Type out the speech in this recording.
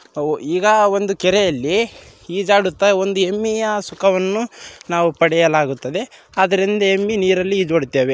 ಅವು ಇಗ ಒಂದು ಕೆರೆಯಲ್ಲಿ ಇಜಾಡುತ್ತಾ ಒಂದು ಯೆಮ್ಮಿಯ ಸುಖವನ್ನು ನಾವು ಪಡೆಯಲಾಗುತ್ತದೆ ಆದರಿಂದ ಯೆಮ್ಮಿ ನಿರಲ್ಲಿ ಇದ್ದು ಬಿಡತ್ತವೆ.